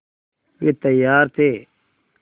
वे तैयार थे